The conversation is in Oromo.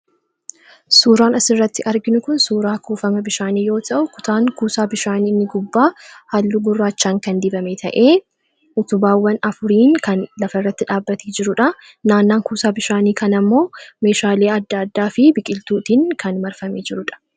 suuraan asirratti arginu kun suuraa kuufama bishaanii yoo ta'u kutaan kuusaa bishaanii inni gubbaa hallu guraachaan kan dibame ta'ee utubaawwan afuriin kan lafa irratti dhaabbatii jiruudha. naannaan kuusaa bishaanii kan ammoo meeshaalii adda addaa fi biqiltuutiin kan marfame jirudha.